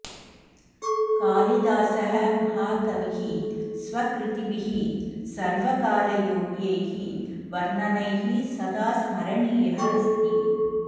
कालिदासः महाकविः स्वकृतिभिः सर्वकालयोग्यैः वर्णनैः सदा स्मरणीयः अस्ति